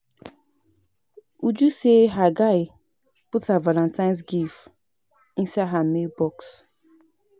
Uju say her guy put her Valantine's gift inside her mail box